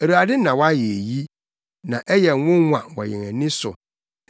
Awurade na wayɛ eyi, na ɛyɛ nwonwa wɔ yɛn ani so.